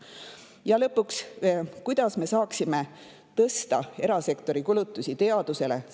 Ja lõpuks, kuidas me saaksime tõsta erasektori kulutusi teadusele?